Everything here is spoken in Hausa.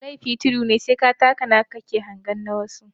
Lefi tudu ne sai ka taka naka ka hange na wani.